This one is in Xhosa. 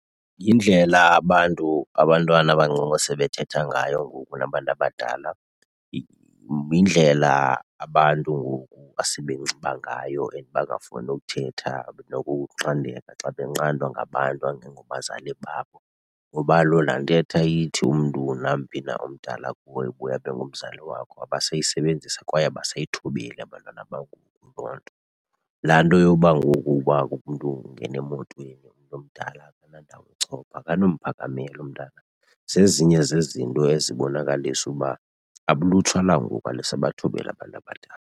Yindlela abantu, abantwana abancinci esebethetha ngayo ngoku nabantu abadala. Yindlela abantu ngoku asebenxiba ngayo and bangafuni ukuthetha nokunqandeka xa benqandwa ngabantu angengobazali babo. Kuba kaloku laa ntetha ithi umntu namphi na omdala kuwe ubuye abe ngumzali wakho abasayisebenzisi kwaye abasayithobeli abantwana bangoku loo nto. Laa nto yoba ngoku uba umntu ungena emotweni umntu omdala akanandawo yochopha akanomphakamela umntana. Zezinye zezinto ezibonakalisa uba ulutsha langoku alisabathobeli abantu abadala.